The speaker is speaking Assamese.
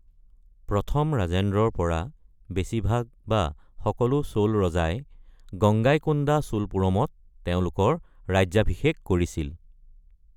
প্ৰথম ৰাজেন্দ্ৰৰ পৰা বেছিভাগ বা সকলো চোল ৰজাই গংগাইকোণ্ডা চোলপুৰমত তেওঁলোকৰ ৰাজ্যাভিষেক কৰিছিল।